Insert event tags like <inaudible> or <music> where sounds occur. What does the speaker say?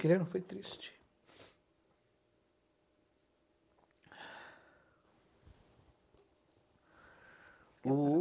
Aquele ano foi triste. <cries>